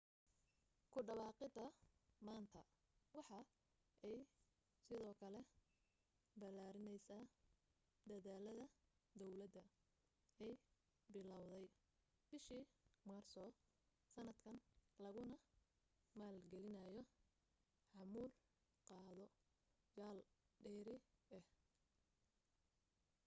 ku dhawaaqida maanta waxa ay sidoo kale balaarineysa dadaalada dowlada ay bilaawday bishii maarso sanadkan laguna maal gelinayo xamuul qaado yaal dheeri ah